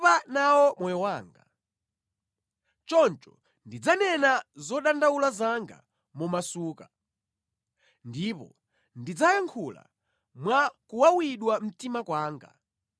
“Ine ndatopa nawo moyo wanga; choncho ndidzanena zodandaula zanga momasuka ndipo ndidzayankhula mwa kuwawidwa mtima kwanga.